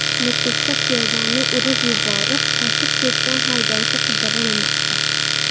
Nukusda piyodani urib yuborib, qochib ketgan haydovchi qidirilmoqda .